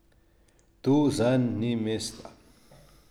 Tu zanj ni mesta.